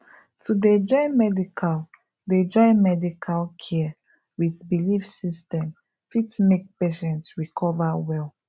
to dey join medical dey join medical care with belief system fit make patient recover well